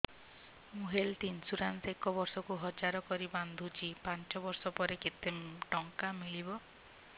ମୁ health insurance ଏକ ବର୍ଷକୁ ହଜାର କରି ବାନ୍ଧୁଛି ପାଞ୍ଚ ବର୍ଷ ପରେ କେତେ ଟଙ୍କା ମିଳିବ